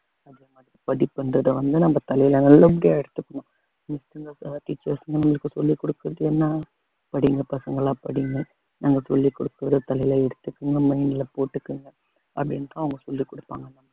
படிப்புங்கறது நம்ம சொல்லிகுடுக்கறதுலாம் படிங்க பசங்களா படிங்க நாங்க சொல்லிக் கொடுக்கிறது தலையில எடுத்துக்கோங்க mind ல போட்டுக்கோங்க அப்படின்னுதான் அவங்க சொல்லிக் கொடுப்பாங்க நம்மளுக்கு